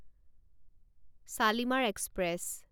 Shalimar express